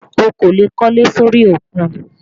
O kò lè kólé sórí òkun